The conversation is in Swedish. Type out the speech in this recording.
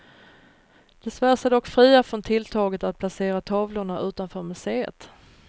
De svär sig dock fria från tilltaget att placera tavlorna utanför museet.